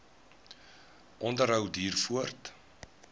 onderhou duur voort